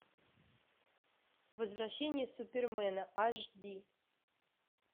возвращение супермена аш ди